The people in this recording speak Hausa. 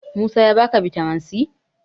Musa ya ba ka bitamin c?